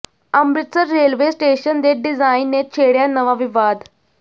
Amritsar railway station ਦੇ design ਨੇ ਛੇੜਿਆ ਨਵਾਂ ਵਿਵਾਦ